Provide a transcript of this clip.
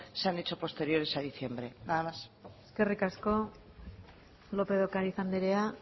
se han hecho posteriores a diciembre nada más eskerrik asko lópez de ocariz andrea